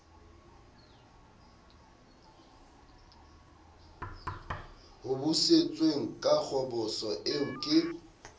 hobositsweng ka kgoboso eo ke